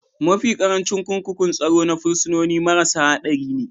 Mafi ƙarancin kurkukun tsaro na fursunoni marasa haɗari ne